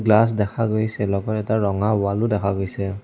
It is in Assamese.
গ্লাচ দেখা গৈছে লগতে তাৰ ৰঙা ৱাল ও দেখা গৈছে।